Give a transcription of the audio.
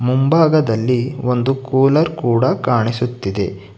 ಮುಂಭಾಗದಲ್ಲಿ ಒಂದು ಕೂಲರ್ ಕೂಡ ಕಾಣಿಸುತ್ತಿದೆ.